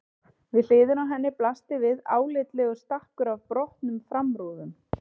Við hliðina á henni blasti við álitlegur stakkur af brotnum framrúðum.